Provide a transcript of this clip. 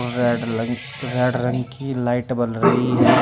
और रेड लंग रेड रंग की लाइट बल रही है।